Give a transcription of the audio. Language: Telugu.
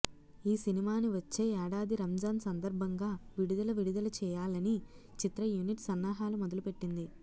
ఈ సినిమాని వచ్చే ఏడాది రంజాన్ సందర్భంగా విడుదల విడుదల చేయాలనీ చిత్ర యూనిట్ సన్నహాలు మొదలు పెట్టింది